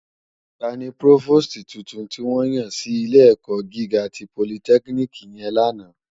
Tàní prófósìtí túntún tiwòn yán si ilé èkò gigá ti pólìtèkínikì yèn làná?